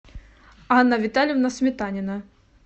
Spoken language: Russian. анна витальевна сметанина